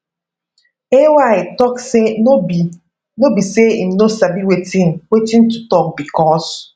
ay tok say no be say im no sabi wetin wetin to tok becos